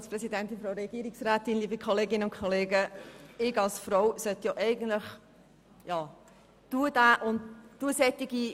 Als Frau sollte ich solche Bestrebungen eigentlich klar unterstützen.